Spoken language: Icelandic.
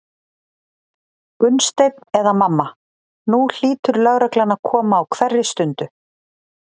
Gunnsteinn eða mamma, nú hlýtur lögreglan að koma á hverri stundu.